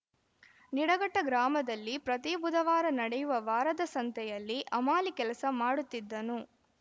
ನಿಡಘಟ್ಟಗ್ರಾಮದಲ್ಲಿ ಪ್ರತಿ ಬುಧವಾರ ನಡೆಯುವ ವಾರದ ಸಂತೆಯಲ್ಲಿ ಅಮಾಲಿ ಕೆಲಸ ಮಾಡುತ್ತಿದ್ದನು